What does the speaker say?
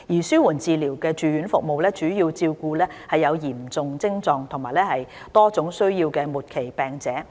紓緩治療住院服務主要照顧有嚴重徵狀及多種需要的末期病者。